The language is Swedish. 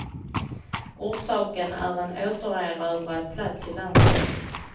Orsaken är en återerövrad plats i landslaget.